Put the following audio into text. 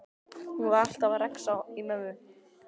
Hún var alltaf að rexa í mömmu.